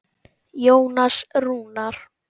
Jónas Rúnar.